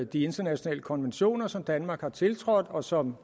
de internationale konventioner som danmark har tiltrådt og som